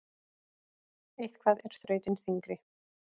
Eitthvað er þrautin þyngri